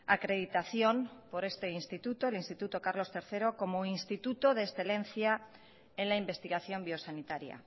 acreditación por este instituto el instituto carlos tercero como instituto de excelencia en la investigación biosanitaria